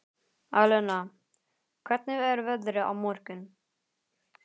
Alena, hvernig er veðrið á morgun?